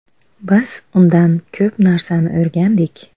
Biz undan ko‘p narsani o‘rgandik.